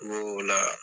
Ko o la